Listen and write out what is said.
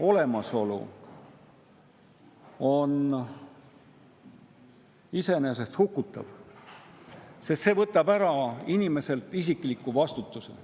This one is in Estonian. on iseenesest hukutav, sest see võtab inimeselt ära isikliku vastutuse.